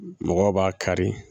Mɔgɔw b'a kari